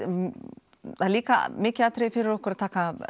líka mikið atriði fyrir okkur að